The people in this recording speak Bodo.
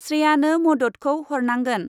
स्रेयानो मददखौ हरनांगोन।